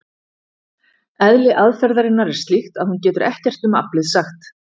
Eðli aðferðarinnar er slíkt að hún getur ekkert um aflið sagt.